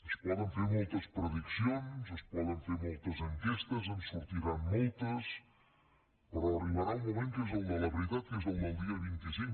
es poden fer moltes prediccions es poden fer moltes enquestes en sortiran moltes però arribarà un moment que és el de la veritat que és el del dia vint cinc